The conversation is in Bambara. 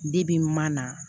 mana